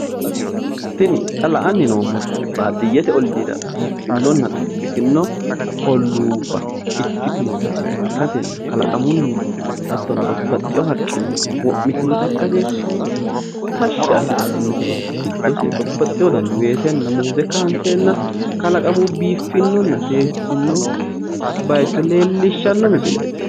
Tini xa la'anni noommoti baadiyyete olliira biiffinonna xu'mitino illuubba ikkitinota ikkasenna kalaqamunni hattono babbaxxino haqqinni wo'mitewota ikkase tashi assitanno misileeti giddose babbaxxewo dani weesenna muuze kaanseenna kalaqamunni biifinonna seesino bayicho leellishanno misileeti